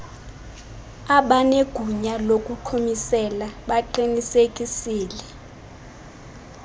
abanegunya lokuqhumisela baqinisekisile